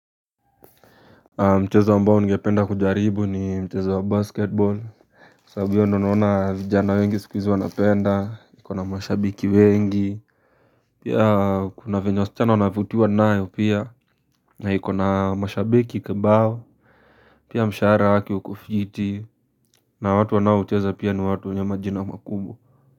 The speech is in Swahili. Mchezo ambao ningependa kujaribu ni mchezo wa basketball, kwa sababu hiyo ndio naona vijana wengi siku hizi wanapenda, iko na mashabiki wengi. Pia kuna vyenye wasichana wanavutiwa nayo pia. Na iko na mashabiki kibao. Pia mshara wake ukofiti, na watu wanaoucheza pia ni watu wenyemajina makubwa.